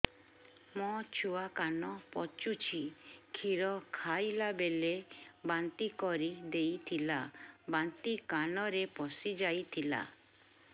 ମୋ ଛୁଆ କାନ ପଚୁଛି କ୍ଷୀର ଖାଇଲାବେଳେ ବାନ୍ତି କରି ଦେଇଥିଲା ବାନ୍ତି କାନରେ ପଶିଯାଇ ଥିଲା